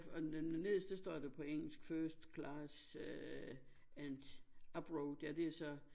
Og nederst det står da på engelsk first class and abroad ja det er så